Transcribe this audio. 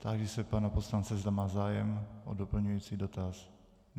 Táži se pana poslance, zda má zájem o doplňující dotaz.